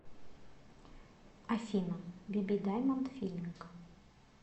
афина биби даймонд филинг